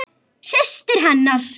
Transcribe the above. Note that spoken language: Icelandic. Nánar um valið síðar.